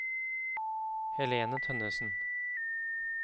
Helene Tønnessen